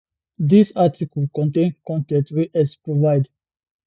dis article contain con ten t wey x provide